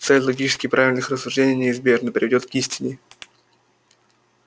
цепь логически правильных рассуждений неизбежно приведёт к истине